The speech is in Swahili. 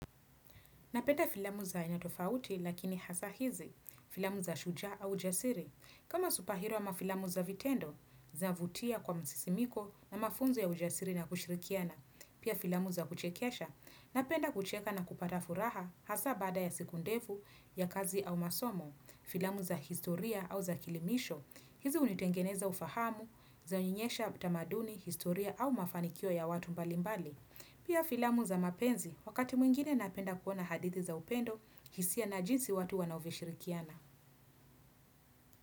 Napenda filamu za aina tofauti lakini hasa hizi, filamu za shujaa au jasiri. Kama supahero ama filamu za vitendo, zavutia kwa msisimuko na mafunzo ya ujasiri na kushirikiana. Pia filamu za kuchekesha, napenda kucheka na kupata furaha hasa baada ya siku ndevu ya kazi au masomo. Filamu za historia au za kielimisho, hizi hunitengeneza ufahamu, za nionyesha tamaduni, historia au mafanikio ya watu mbalimbali. Pia filamu za mapenzi, wakati mwingine napenda kuona hadithi za upendo, jinsia na jinsi watu wanavyoshirikiana.